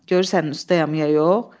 Görürsən ustayam, ya yox?